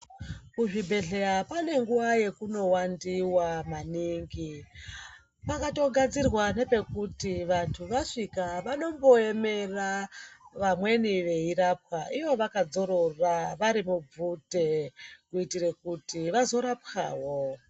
Kuzvibhedhlera pane nguwa yekunowandiwa maningi kwakatogadzirwa nepekuti vantu vasvika vanomboemera vamweni vechirapwa ivo vakadzorora vari mubvute kuitire kuti vazorapwawo